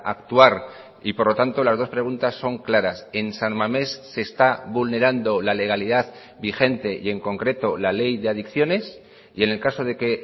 actuar y por lo tanto las dos preguntas son claras en san mamés se está vulnerando la legalidad vigente y en concreto la ley de adicciones y en el caso de que